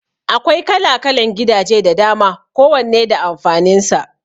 Akwai kala-kalan gidaje da dama ko wanne da amfanin sa